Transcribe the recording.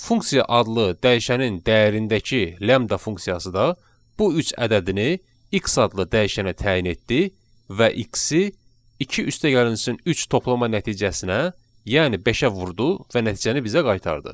Funksiya adlı dəyişənin dəyərindəki lambda funksiyası da bu üç ədədini x adlı dəyişənə təyin etdi və x-i 2 üstəgəlsin 3 toplama nəticəsinə, yəni beşə vurdu və nəticəni bizə qaytardı.